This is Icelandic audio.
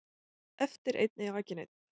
Eftir einn ei aki neinn